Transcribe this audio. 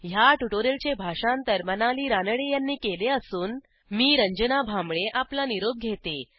ह्या ट्युटोरियलचे भाषांतर मनाली रानडे यांनी केले असून मी रंजना भांबळे आपला निरोप घेते